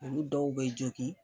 Olu dɔw be jogin.